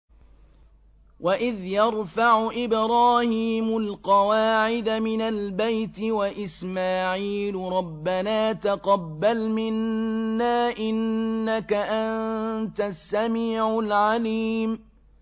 وَإِذْ يَرْفَعُ إِبْرَاهِيمُ الْقَوَاعِدَ مِنَ الْبَيْتِ وَإِسْمَاعِيلُ رَبَّنَا تَقَبَّلْ مِنَّا ۖ إِنَّكَ أَنتَ السَّمِيعُ الْعَلِيمُ